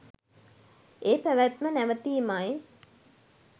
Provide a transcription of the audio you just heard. ඒ පැවැත්ම නැවතීමයි.